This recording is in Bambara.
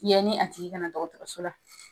Yani a tigi kana dɔgɔtɔrɔso la